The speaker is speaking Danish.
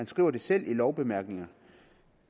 skriver det selv i lovbemærkningerne